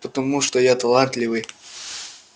потому что я талантливый